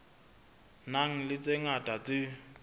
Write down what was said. nang le tse ngata tse